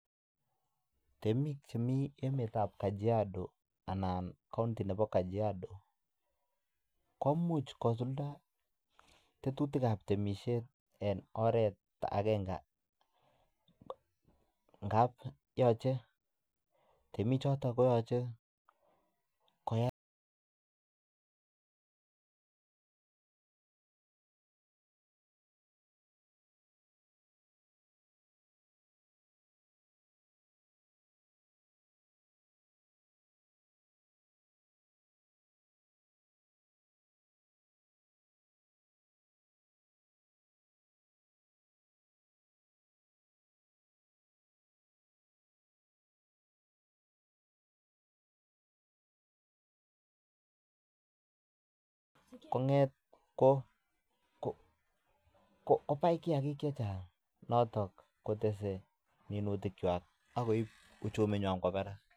Temik chemi enetab Kajiado anan county nebo Kajiado ko much kosulda tetutik ab temisiet en oret agenge ngab yoche temik choto koyoche koyai kong'et kobai kiyagik che chang noton kotese, ak koib uchumi kwo barak